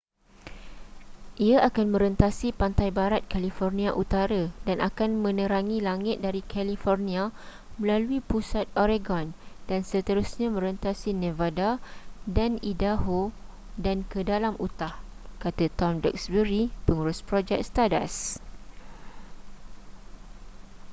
ia akan merentasi pantai barat california utara dan akan menerangi langit dari california melalui pusat oregon dan seterusnya merentasi nevada dan idaho dan ke dalam utah kata tom duxbury pengurus projek stardust